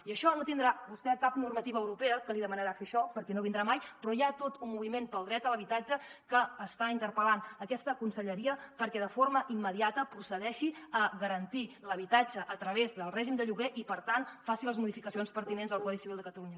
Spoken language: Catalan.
i això no tindrà vostè cap normativa europea que li demanarà fer això perquè no vindrà mai però hi ha tot un moviment pel dret a l’habitatge que està interpel·lant aquesta conselleria perquè de forma immediata procedeixi a garantir l’habitatge a través del règim de lloguer i per tant faci les modificacions pertinents al codi civil de catalunya